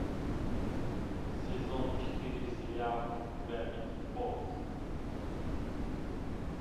сезон четыре сериал гравити фолз